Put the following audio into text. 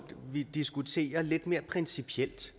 vi diskuterer lidt mere principielt